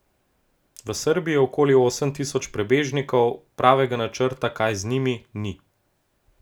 V Srbiji je okoli osem tisoč prebežnikov, pravega načrta, kaj z njimi, ni.